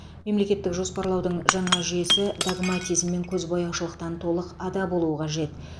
мемлекеттік жоспарлаудың жаңа жүйесі догматизм мен көзбояушылықтан толық ада болуы қажет